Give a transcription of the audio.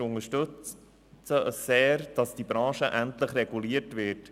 Wir unterstützen sehr, dass diese Branche endlich reguliert wird.